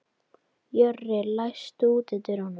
Jörri, læstu útidyrunum.